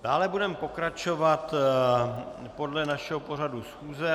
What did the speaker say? Dále budeme pokračovat podle našeho pořadu schůze.